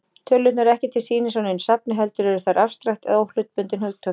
Tölurnar eru ekki til sýnis á neinu safni, heldur eru þær afstrakt eða óhlutbundin hugtök.